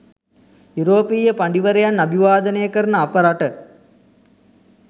යුරෝපීය පඬිවරයන් අභිවාදනය කරන අප රට